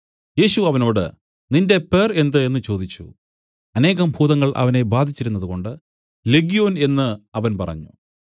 യേശു അവനോട് നിന്റെ പേർ എന്ത് എന്നു ചോദിച്ചു അനേകം ഭൂതങ്ങൾ അവനെ ബാധിച്ചിരുന്നതുകൊണ്ട് ലെഗ്യോൻ എന്നു അവൻ പറഞ്ഞു